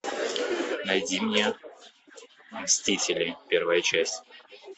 найди мне мстители первая часть